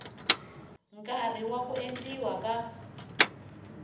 nkarhi wa ku endliwa ka